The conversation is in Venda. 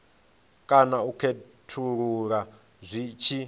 kana u khethulula zwi tshi